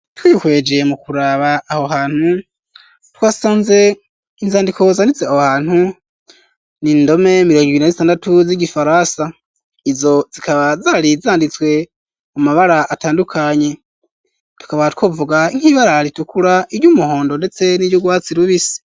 Twihweje mu kuraba aho hantu, twasanze inzandiko zanditse aho hantu, ni indome mirongo ibiri na zitandatu z'igifaransa, izo zikaba zari zanditswe mu mabara atandukanye, tukaba twovuga nk'ibara ritukura, iry'umuhondo ndetse n'iryugwatsi rubisi.